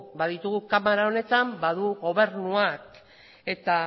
baditugu kamara honetan badu gobernuak eta